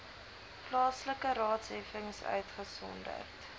plaaslike raadsheffings uitgesonderd